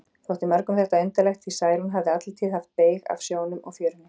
Þótti mörgum þetta undarlegt, því Særún hafði alla tíð haft beyg af sjónum og fjörunni.